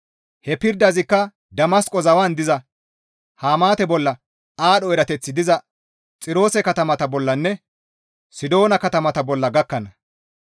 Ha pirdazikka Damasqo zawan diza Hamaate bolla, aadho erateththi diza Xiroose katamata bollanne Sidoona katamata bolla gakkana.